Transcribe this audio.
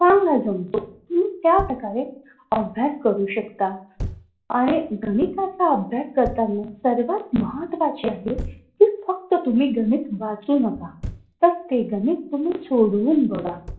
चांगला जमतो तुम्ही त्या प्रकारे अभ्यास करू शकता आणि गणिताचा अभ्यास करताना सर्वात महत्वाचे आहे कि फक्त तुम्ही गणित वाचू नका तर ते गणित तुम्ही सोडवून बघा.